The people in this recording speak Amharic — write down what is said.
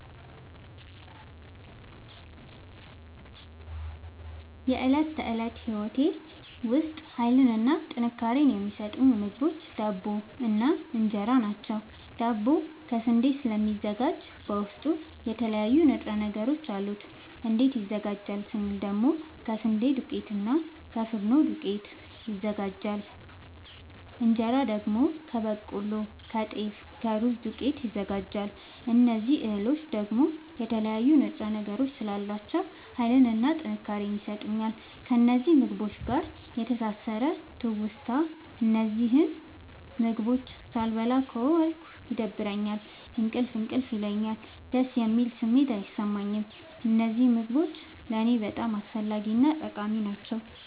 በእለት ተለት ህይወቴ ዉስጥ ሀይልንና ጥንካሬን የሚሠጡኝ ምግቦች ዳቦ እና እን ራ ናቸዉ። ዳቦ ከስንዴ ስለሚዘጋጂ በዉስጡ የተለያዩ ንጥረ ነገሮች አሉት። እንዴት ይዘጋጃል ስንል ደግሞ ከስንዴ ዱቄትና እና ከፊኖ ዱቄት ይዘጋጃል። እንጀራ ደግሞ ከበቆሎ ከጤፍ ከሩዝ ዱቄት ይዘጋጃል። እዚህ እህሎይ ደግሞ የተለያዩ ንጥረ ነገሮች ስላሏቸዉ ሀይልንና ጥንካሬን ይሠጡኛል። ከእነዚህ ምግቦች ጋር ያለኝ የተሣሠረ ትዉስታ እነዚህን ምግቦች ሣልበላ ከዋልኩ ይደብረኛል እንቅልፍ እንቅልፍ ይለኛል። ደስ የሚል ስሜት አይሠማኝም። እነዚህ ምግቦች ለኔ በጣም አስፈላጊናጠቃሚ ናቸዉ።